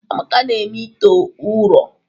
Amaka na-eme ite ụrọ.